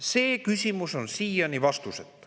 See küsimus on siiani vastuseta.